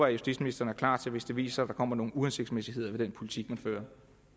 at justitsministeren er klar til hvis det viser sig at der kommer nogle uhensigtsmæssigheder med den politik man fører